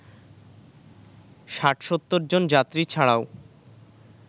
৬০-৭০ জন যাত্রী ছাড়াও